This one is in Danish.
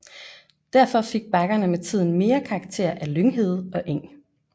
Derfor fik bakkerne med tiden mere karakter af lynghede og eng